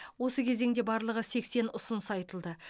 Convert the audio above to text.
осы кезеңде барлығы сексен ұсыныс айтылды